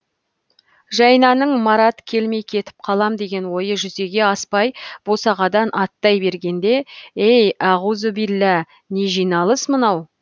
жайнаның марат келмей кетіп қалам деген ойы жүзеге аспай босағадан аттай бергенде ей ауғузубилә не жиналыс мынау